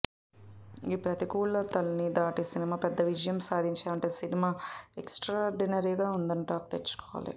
ఈ ప్రతికూలతల్ని దాటి సినిమా పెద్ద విజయం సాధించాలంటే సినిమా ఎక్స్ట్రార్డినరీగా ఉందనే టాక్ తెచ్చుకోవాలి